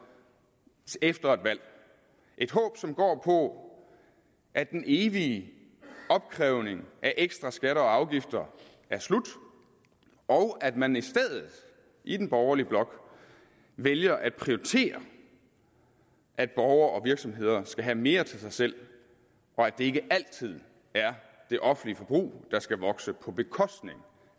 efter et valg et håb som går på at den evige opkrævning af ekstra skatter og afgifter er slut og at man i stedet i den borgerlige blok vælger at prioritere at borgere og virksomheder skal have mere til sig selv og at det ikke altid er det offentlige forbrug der skal vokse på bekostning